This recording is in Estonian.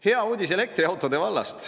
Hea uudis elektriautode vallast.